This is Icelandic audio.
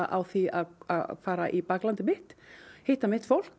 á því að fara í baklandið hitta fólk